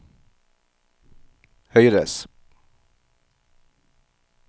høyres